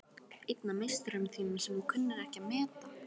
Einn af meisturum þínum sem þú kunnir ekki að meta.